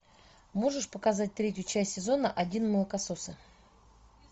можешь показать третью часть сезона один молокососы